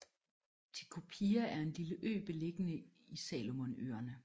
Tikopia er en lille ø beliggende i Salomonøerne